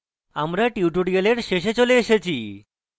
আমরা tutorial শেষে চলে এসেছি